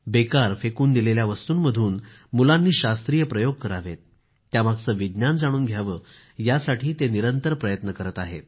बेकार फेकून दिलेल्या वस्तूंमधून मुलांनी शास्त्रीय प्रयोग करावेत त्यामागचे विज्ञान जाणून घ्यावे यासाठी ते निरंतर प्रयत्न करीत आहेत